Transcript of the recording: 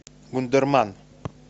вундерман